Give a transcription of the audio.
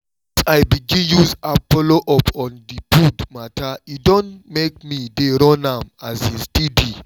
since i begin use app follow up on the food matter e don make me dey run am um steady